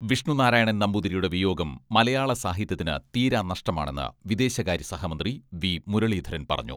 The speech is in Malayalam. വിഷ്ണുനാരായണൻ നമ്പൂതിരിയുടെ വിയോഗം മലയാള സാഹിത്യത്തിന് തീരാനഷ്ടമാണെന്ന് വിദേശകാര്യ സഹമന്ത്രി വി.മുരളീധരൻ പറഞ്ഞു.